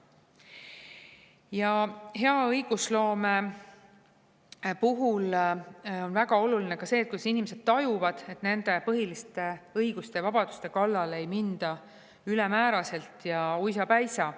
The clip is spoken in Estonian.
Ja hea õigusloome puhul on väga oluline ka see, kas inimesed tajuvad, et nende põhiliste õiguste ja vabaduste kallale ei minda ülemääraselt ja uisapäisa.